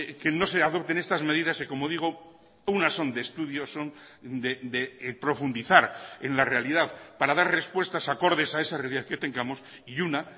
que no se adopten estas medidas que como digo unas son de estudios son de profundizar en la realidad para dar respuestas acordes a esa realidad que tengamos y una